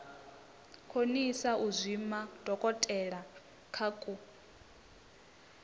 konisa u zwima dokotelakha ku